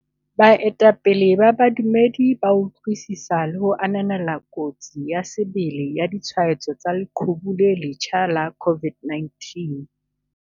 Baetapele ba badumedi ba utlwisisa le ho ananela kotsi ya sebele ya ditshwaetso tsa leqhubu le le letjha la COVID-19.